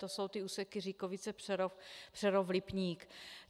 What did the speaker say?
To jsou ty úseky Říkovice - Přerov, Přerov - Lipník.